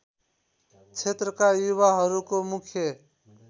क्षेत्रका युवाहरूको मुख्य